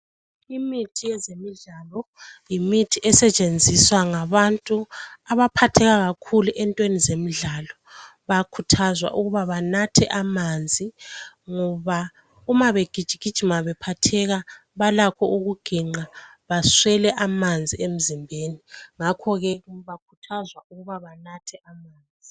Imithi yezemidlalo yimithi esetshenziswa ngabantu abaphatheka kakhulu entweni zemidlalo. Bayakhuthazwa ukuba banathe amanzi ngoba uma begijigijima bephakathi balakho ukuginqa baswele amanzi emzimbeni. Ngakho ke bakhuthazwa ukuba banathe amanzi.